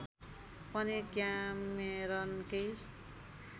पनि क्यामेरनकै